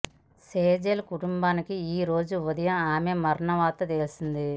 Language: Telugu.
సెజల్ కుటుంబానికి ఈ రోజు ఉదయం ఆమె మరణ వార్త తెలిసింది